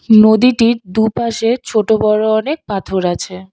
নদীটির দুপাশে ছোট বড়ো অনেক পাথর আছে।